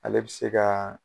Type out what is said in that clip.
Ale bɛ se ka